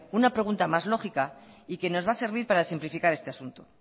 una pregunta más lógica y que nos va a servir para simplificar este asunto